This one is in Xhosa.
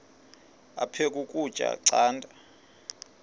aphek ukutya canda